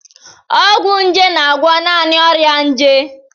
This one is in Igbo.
Ọgwụ nje na-agwọ naanị ọrịa nje.